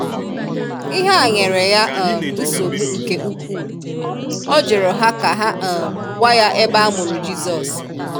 Ihe a nyere ya um nsogbu nke ukwuu, ọ jụrụ ha ka ha um gwa ya ebe a mụrụ Jizọs.